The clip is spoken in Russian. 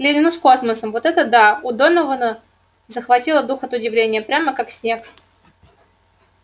клянусь космосом вот это да у донована захватило дух от удивления прямо как снег